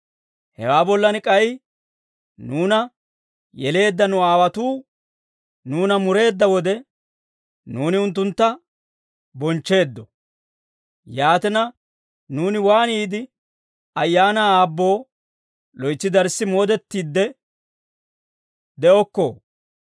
Hewaa bollan k'ay, nuuna yeleedda nu aawotuu nuuna mureedda wode, nuuni unttuntta bonchcheeddo. Yaatina, nuuni waaniide ayaanaa Aabboo loytsi darssi moodettiide de'okkoo?